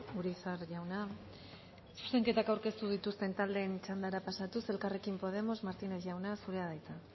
urizar jauna zuzenketak aurkeztu dituzten taldeen txandara pasatuz elkarrekin podemos martínez jauna zurea da hitza